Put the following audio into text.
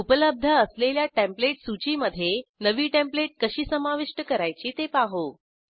उपलब्ध असलेल्या टेंप्लेट सूचीमधे नवी टेंप्लेट कशी समाविष्ट करायची ते पाहू